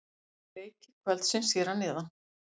Leikir kvöldsins hér að neðan: